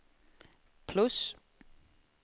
plus